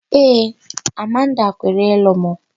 Ee, Amanda kwere ịlụ mụ.